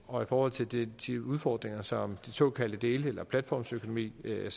og i forhold til de udfordringer som den såkaldte dele eller platformsøkonomi giver